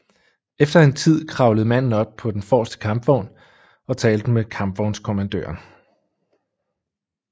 Efter en tid kravlede manden op på den forreste kampvogn og talte med kampvognskommandøren